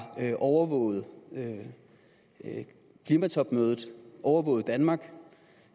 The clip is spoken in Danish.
overvåget klimatopmødet overvåget danmark